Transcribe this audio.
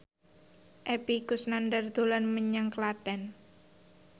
Epy Kusnandar dolan menyang Klaten